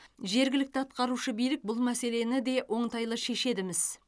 жергілікті атқарушы билік бұл мәселені де оңтайлы шешеді міс